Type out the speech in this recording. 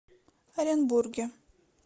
оренбурге